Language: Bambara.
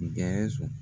Gɛrɛnso